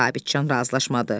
Sabitçan razılaşmadı.